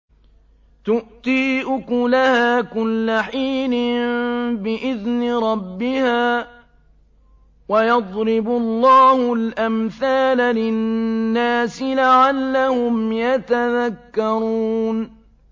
تُؤْتِي أُكُلَهَا كُلَّ حِينٍ بِإِذْنِ رَبِّهَا ۗ وَيَضْرِبُ اللَّهُ الْأَمْثَالَ لِلنَّاسِ لَعَلَّهُمْ يَتَذَكَّرُونَ